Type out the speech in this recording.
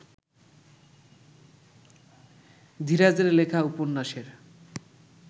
ধীরাজের লেখা উপন্যাসের